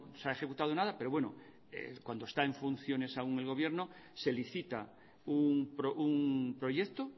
se ha ejecutado nada pero bueno cuando está en funciones aún el gobierno se licita un proyecto